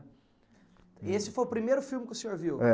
E esse foi o primeiro filme que o senhor viu? É.